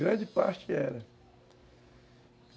Grande parte era.